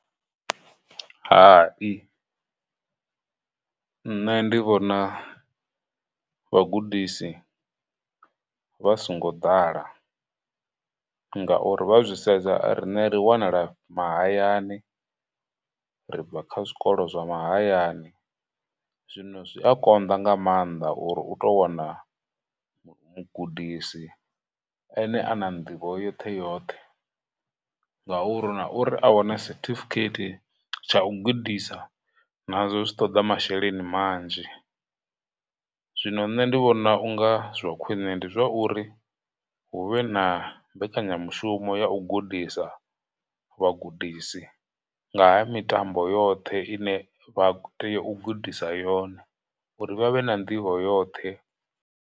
Hai, nṋe ndi vhona vhagudisi vha songo ḓala ngauri vha zwi sedza, a rine ri wanala mahayani, ri bva kha zwikolo zwa mahayani, zwino zwi a konḓa nga maanḓa uri u tou wana mugudisi ene a na nḓivho yoṱhe yoṱhe ngauri, na uri a wane certificate tsha u gudisa nazwo zwi ṱoḓa masheleni manzhi, zwino nṋe ndi vhona u nga zwa khwine ndi zwa uri hu vhe na mbekanyamushumo ya u gudisa vhagudisi nga ha mitambo yoṱhe ine vha tea u gudisa yone, uri vha vhe na nḓivho yoṱhe.